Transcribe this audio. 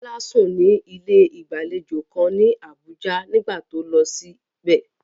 Bola sùn ní ilé ìgbàlejò kan ní Abuja nígbà tó lọ síbẹ̀.